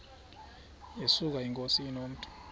yesuka inkosi inomntu